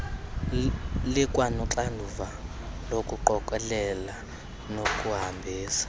likwanoxanduva lokuqokelela nokuhambisa